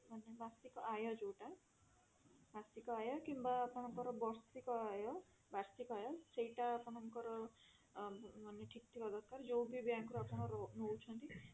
ମାନେ ମାସିକ ଆୟ ଯୋଊଟା ମାସିକ ଆୟ କିମ୍ବା ଆପଣଙ୍କର ବର୍ଷିକ ଆଯ ବାର୍ଷିକ ଆୟ ସେଇଟା ଆପଣଙ୍କର ଊଁ ମାନେ ଠିକ ଥିବା ଦରକାର ଯୋଉ ବି bank ରୁ ଆପଣ ନଉଛନ୍ତି